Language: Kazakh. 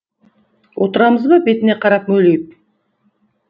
отырамыз ба бетіне қарап мөлиіп